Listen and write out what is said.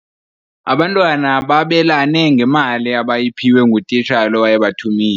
Abantwana babelane ngemali abayiphiwe ngutitshala owayebathumile.